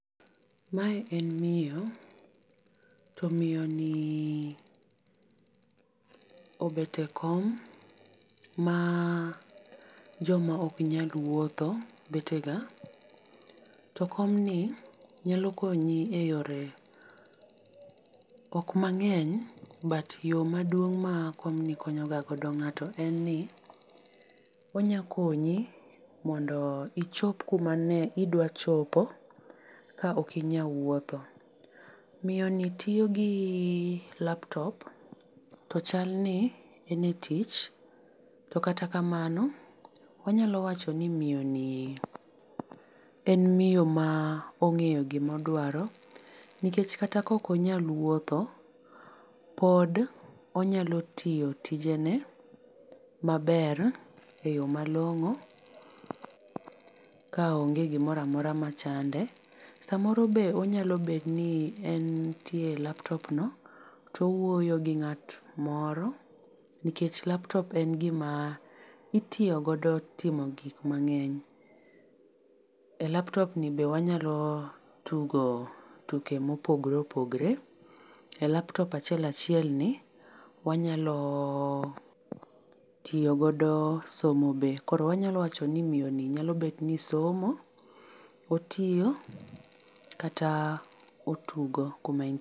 Mae en miyo. To miyo ni obet e kom, ma joma ok nyal wuotho bet e ga. To kom ni nyalo konyi e yore, ok mang'eny but yo maduong', ma komni konyo ga go ng'ato en ni onya konyi mondo ichop kuma ne idwa chopo ka ok inyal wuotho. Miyo ni tiyo gi laptop to chal ni en e tich. To kata kamano, wanyalo wacho ni miyo ni en miyo ma ong'eyo gima odwaro. Nikech kata ka ok onyal wuotho, pod onyalo tiyo tijene maber e yo malong'o, ka onge gimoro amora machande. Samoro be onyalo bedo ni entie e laptop no to owuoyo gi ng'at moro. Nikech laptop en gima itiyo godo timo gik mang'eny. E laptop ni bende wanyalo tugo tuke mopogore opogore. E laptop achiel achiel ni wanyalo tiyo godo somo be. Koro wanyalo wancho ni miyo ni nyalo bet ni somo, otiyo kata otugo kuma en .